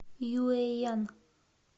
юэян